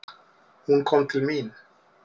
Hún kom til mín.